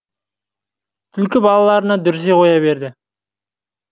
түлкі балаларына дүрсе қоя береді